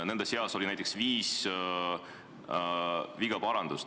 Nende seas oli näiteks viis vigade parandust.